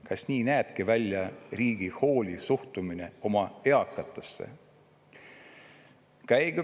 Kas nii näebki välja riigi hooliv suhtumine oma eakatesse?